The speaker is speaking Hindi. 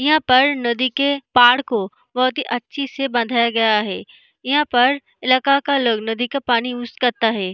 यहाँ पर नदी के पार को बहुत ही अच्छी से बंधाया गया है यहां पर इलाका का लोग नदी का पानी यूज करता है।